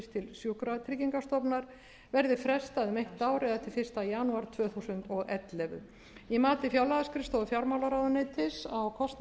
sjúkratryggingastofnunar verði frestað um eitt ár eða til fyrsta janúar tvö þúsund og ellefu í mati fjárlagaskrifstofu fjármálaráðuneytisins á kostnaðaráhrifum frumvarpsins kemur